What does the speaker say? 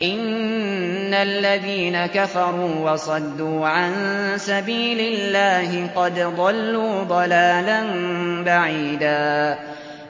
إِنَّ الَّذِينَ كَفَرُوا وَصَدُّوا عَن سَبِيلِ اللَّهِ قَدْ ضَلُّوا ضَلَالًا بَعِيدًا